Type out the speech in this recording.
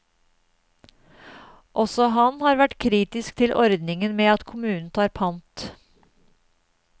Også han har vært kritisk til ordningen med at kommunen tar pant.